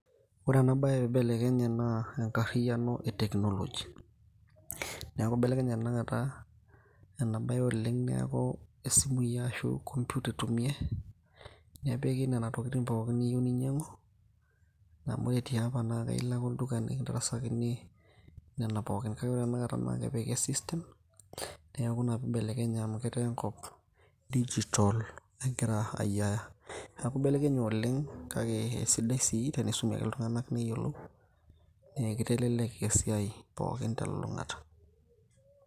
Ore ena bae peibelekenye naa enkarriyiano e technology. Neeku ibelekenye tanakata ena bae oleng' neeku isimui ashu inkompiuta itumiai, nepiki nena tokiting pookin niyieu ninyang'u, amu ore tiapa na ilo ake olduka nikindarasakini nena pookin. Kake ore tanakata naa kepiki e system, neeku ina pibelekenye amu etaa enkop digital egira ayiaya. Neeku ibelekenye oleng',kake esidai si tenisumi ake iltung'anak neyiolou, ne kitelelek esiai pookin telulung'ata.